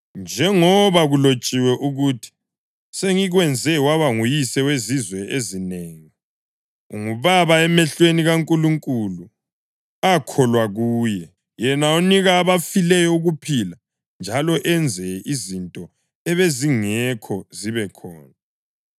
Njengoba kulotshiwe ukuthi, “Sengikwenze waba nguyise wezizwe ezinengi.” + 4.17 UGenesisi 17.5 Ungubaba emehlweni kaNkulunkulu akholwa kuye, yena onika abafileyo ukuphila njalo enze izinto ebezingekho zibe khona.